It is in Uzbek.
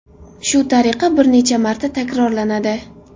Shu tariqa bir necha marta takrorlanadi.